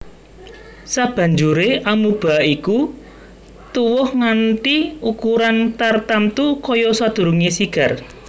Sabanjuré amoeba iki tuwuh nganti ukuran tartamtu kaya sadurungé sigar